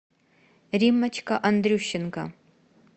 риммочка андрющенко